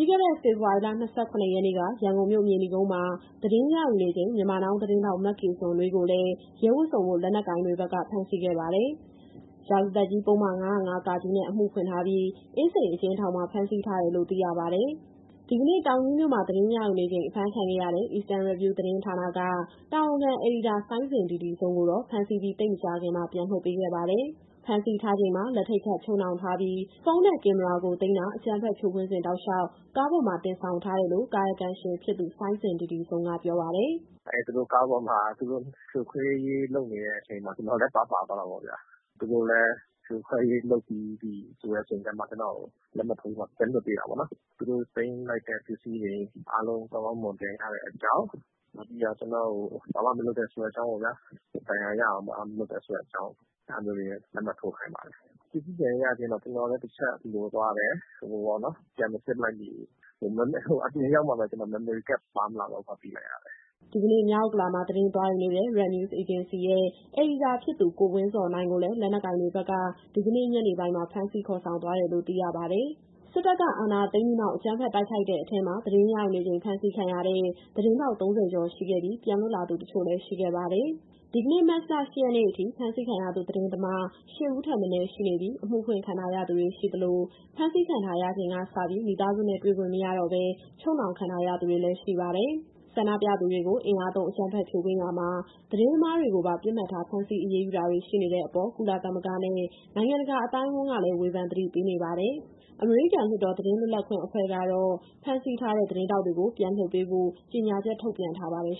ပြီးခဲ့တဲ့ ဖေဖော်ဝါရီလ ၂၇ ရက်နေ့က ရန်ကုန်မြို့၊ မြေနီကုန်းမှာ သတင်းရယူနေချိန် Myanmar Now သတင်းထောက် မကေဇွန်နွေးကိုလည်း ရဲဝတ်စုံဝတ် လက်နက်ကိုင်တွေဘက်က ဖမ်းဆီးခဲ့ပါတယ်။ ရာဇသတ်ကြီး ပုဒ်မ ၅၀၅ နဲ့ အမှုဖွင့်ထားပြီး၊ အင်းစိန်အကျဉ်းထောင်မှာ ဖမ်းဆီးထားတယ်လို့ သိရပါတယ်။ ဒီကနေ့ တောင်ကြီးမြို့မှာ သတင်းရယူနေချိန် အဖမ်းခံခဲ့ရတဲ့ Eastern Review သတင်းဌာနက တာဝန်ခံအယ်ဒီတာ စိုင်းဇင်ဒီဒီဇုံကိုတော့ ဖမ်းဆီးပြီး သိပ်မကြာခင်မှာ ပြန်လွှတ်ပေးခဲ့ပါတယ်။ ဖမ်းဆီးထားချိန်မှာ လက်ထိပ်ခတ် ချုပ်နှောင်ထားပြီး၊ ဖုန်းနဲ့ ကင်မရာကိုသိမ်းတာ၊ အကြမ်းဖက် ဖြိုခွင်းစဉ်တောက်လျှောက် ကားပေါ်မှာတင်ဆောင်ထားတယ်လို့ ကာကယံရှင်ဖြစ်သူ စိုင်းဇင်ဒီဒီဇုံက ပြောပါတယ်။ "အဲဒီ သူတို့ကားပေါ်မှာ ဖြိုခွဲရေးလုပ်နေချိန်မှာ ကျနော်လည်း ပါသွားတာပေါ့ဗျာ။ သူတို့လည်း ဖြိုခွဲရေးလုပ်ပြီးပြီဆိုတဲ့အချိန်မှ ကျနော့်ကို လက်မှတ်ထိုးခိုင်းပြီးမှ ပြန်လွှတ်ပေးတာပေါ့နော်။ လက်မှတ်ထိုးတယ်ဆိုတာကလည်း သူတို့သိမ်းလိုက်တဲ့ပစ္စည်းတွေ ကောင်းကောင်းမွန်မွန်ပြန်ရတယ်ဆိုတဲ့အကြောင်း၊ ကျနော့်ကို ဘာမှမလုပ်ဘူးဆိုတဲ့ အကြောင်းပေါ့ဗျာ... ဒဏ်ရာရအောင် ဘာမှမလုပ်ပါဆိုတဲ့အကြောင်း အဲဒီလိုမျိုး လက်မှတ်ထိုးခိုင်းတယ်။ ပစ္စည်းပြန်ရရချင်းတော့ ကျနော်လည်း တချက်လိုသွားတယ်၊ ပြန်မစစ်လိုက်မိဘူး။ အပြင်ရောက်တော့မှပဲ Memory Card ပြန်ပါမလာတော့ဘူးဆိုတာ သိလိုက်ရတယ်။" ဒီကနေ့ မြောက်ဥက္ကလာမှာ သတင်းသွားယူနေတဲ့ Red News Agency ရဲ့ အယ်ဒီတာဖြစ်သူ ကိုဝင်းဇော်နိုင်ကိုလည်း လက်နက်ကိုင်တွေက ဒီကနေ့ ညနေပိုင်းမှာ ဖမ်းဆီးခေါ်ဆောင်သွားတယ်လို့ သိရပါတယ်။ စစ်တပ်က အာဏာသိမ်းပြီးနောက် အကြမ်းဖက်နှိမ်နင်းခံရတဲ့အထဲမှာ သတင်းရယူနေချိန် ဖမ်းဆီးခံရတဲ့ သတင်းထောက် ၃၀ ကျော် ရှိခဲ့ပြီး၊ ပြန်လွတ်လာသူ တချို့လည်း ရှိခဲ့ပါတယ်။ ဒီကနေ့ မတ်လ ၈ ရက် အထိ ဖမ်းဆီးခံထားရသူ သတင်းသမား ၈ ဦးထက်မနည်း ရှိနေပြီး၊ အမှုဖွင့်ခံထားရသူတွေ ရှိသလို၊ ဖမ်းဆီးခံရပြီးချိန်ကစ မိသားစုနဲ့ တွေ့ခွင့်မရတော့ဘဲ ချုပ်နှောင်ခံထားရသူတွေလည်း ရှိပါတယ်။ ဆန္ဒပြသူတွေကို အင်အားသုံးအကြမ်းဖက် ဖြိုခွဲရာမှာ သတင်းသမားတွေကိုပါ ပစ်မှတ်ထား ဖမ်းဆီးအရေးယူတာတွေ ရှိနေတဲ့အပေါ် ကုလသမဂ္ဂနဲ့ နိုင်ငံတကာအသိုင်းအဝန်းကလည်း ဝေဖန်သတိပေးနေပါတယ်။ အမေရိကန်လွှတ်တော် သတင်းလွတ်လပ်ခွင့်အဖွဲ့ကတော့ ဖမ်းဆီးထားတဲ့ သတင်းထောက်တွေကို ပြန်လွှတ်ပေးဖို့ ကြေညာချက်ထုတ်ပြန်ထားပါတယ်